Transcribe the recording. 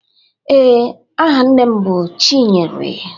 Ee, aha nne m bụ chinyere